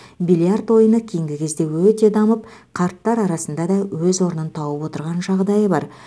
бильярд ойыны кейінгі кезде өте дамып қарттар арасында да өз орнын тауып отырған жағдайы бар